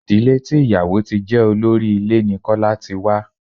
Ìdílé tí ìyàwò ti jẹ́ olórí ilé ní Kọ́lá ti wá.